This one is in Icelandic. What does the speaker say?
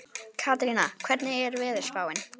Karína, hvernig er veðurspáin?